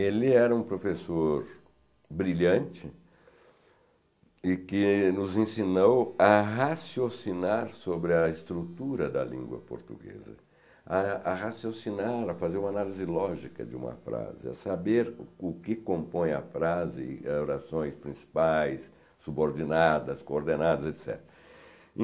Ele era um professor brilhante e que nos ensinou a raciocinar sobre a estrutura da língua portuguesa, a a raciocinar, a fazer uma análise lógica de uma frase, a saber o que compõe a frase, orações principais, subordinadas, coordenadas, etc.